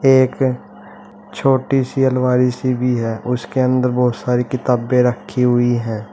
एक छोटी सी अलमारी सी भी है उसके अंदर बहुत सारी किताबें रखी हुई है।